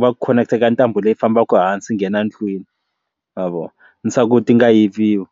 va khoneketa eka ntambu leyi fambaka hansi nghena ndlwini ma vona ni swa ku ti nga yiviwi.